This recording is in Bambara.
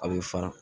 A bɛ fara